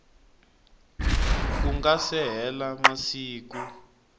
ku nga se hela masiku